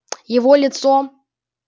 его лицо